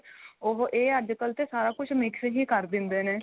ਉਹ ਇਹ ਅੱਜਕੱਲ ਤੇ ਸਾਰਾ ਕੁੱਝ mix ਹੀ ਕ਼ਰ ਦਿੰਦੇ ਨੇ